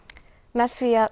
með því að